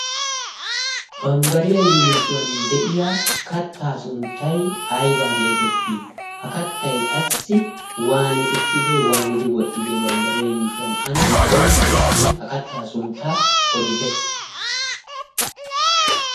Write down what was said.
Bambbariyaa yuushuwan de'iya kattaa sunttai ayba geetettii? ha kattay qassi waani uttide? waanidi wodhdhide bambbariyaa yuushuwan ane qonccissidi ha kattaa sunttaa odite?